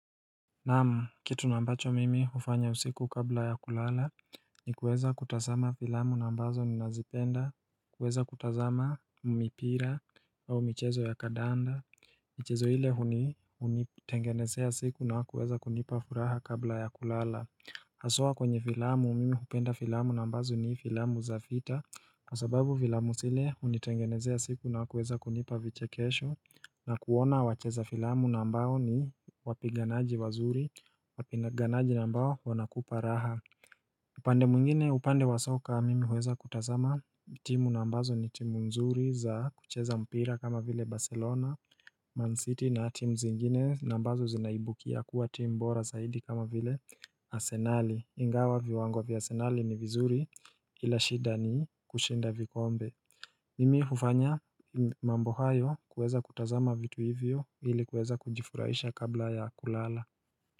Naam, kitu na ambacho mimi hufanya usiku kabla ya kulala ni kuweza kutasama filamu na ambazo ninazipenda, kuweza kutazama mipira au michezo ya kadanda, michezo ile huni hunitengenezea siku na kuweza kunipa furaha kabla ya kulala. Haswa kwenye vilamu mimi hupenda fiilamu na ambazo ni fiilamu za fiita kwa sababu vilamu sile unitengenezea siku na kuweza kunipa vichekesho na kuona wacheza filamu na ambao ni wapiganaji wazuri Wapiganaji na ambao wanakupa raha upande mwingine upande wa soccer mimi huweza kutazama timu na ambazo ni timu nzuri za kucheza mpira kama vile Barcelona Man City na timu zingine na ambazo zinaibukia kuwa timu bora saidi kama vile Asenali Ingawa viwango via asenali ni vizuri ila shida ni kushinda vikombe Mimi hufanya mambo hayo kuweza kutazama vitu hivyo ili kuweza kujifuraisha kabla ya kulala.